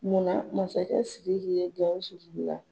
Munna masakɛ SIRIKI ye GAWUSU la.